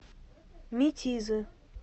метизы